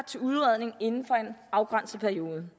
til udredning inden for en afgrænset periode